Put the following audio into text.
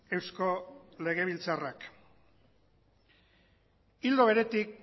eusko legebiltzarrak ildo beretik